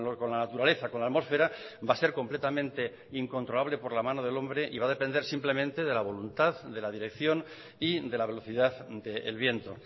con la naturaleza con la atmósfera va a ser completamente incontrolable por la mano del hombre y va a depender simplemente de la voluntad de la dirección y de la velocidad del viento